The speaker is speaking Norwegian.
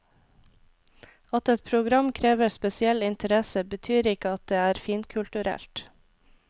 At et program krever spesiell interesse betyr ikke at det er finkulturelt.